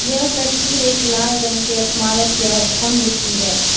यह तस्वीर एक लाल रंग के स्मारक या स्तंभ की है।